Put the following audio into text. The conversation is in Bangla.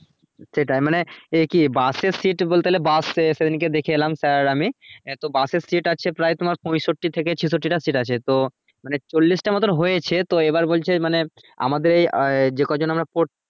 সেটাই মানে এ কি bus এর seat বলতে গেলে bus সেদিনকে দেখে এলাম sir আর আমি হ্যাঁ তো bus এর seat আছে প্রায় তোমার পঁয়ষট্টি থেকে ছেষট্টি টা seat আছে তো মানে চল্লিশ টা মতন হয়েছে তো এবার বলছে মানে আমাদের আয়ে যে ক জন আমরা পড়